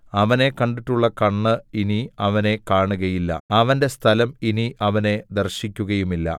അവനെ കണ്ടിട്ടുള്ള കണ്ണ് ഇനി അവനെ കാണുകയില്ല അവന്റെ സ്ഥലം ഇനി അവനെ ദർശിക്കുകയുമില്ല